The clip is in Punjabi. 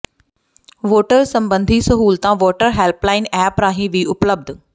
ਵੋਟਰ ਸਬੰਧੀ ਸਹੂਲਤਾਂ ਵੋਟਰ ਹੈਲਪਲਾਈਨ ਐਪ ਰਾਹੀਂ ਵੀ ਉਪਲੱਬਧ